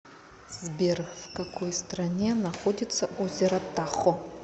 сбер в какой стране находится озеро тахо